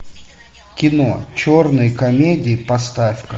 кино черные комедии поставь ка